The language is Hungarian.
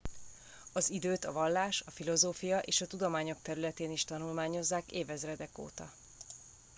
az időt a vallás a filozófia és a tudományok területén is tanulmányozzák évezredek óta